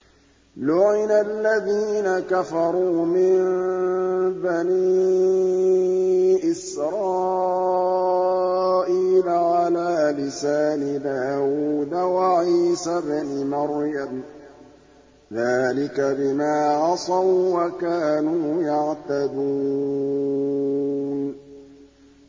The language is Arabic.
لُعِنَ الَّذِينَ كَفَرُوا مِن بَنِي إِسْرَائِيلَ عَلَىٰ لِسَانِ دَاوُودَ وَعِيسَى ابْنِ مَرْيَمَ ۚ ذَٰلِكَ بِمَا عَصَوا وَّكَانُوا يَعْتَدُونَ